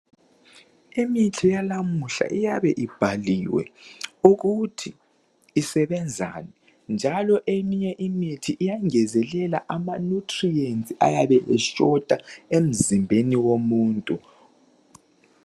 Imithi yalamuhla iyabe ibhaliwe ukuthi isebenzani njalo eminye imithi iyangezelela ama nutrients ayabe engekho emzimbeni womuntu .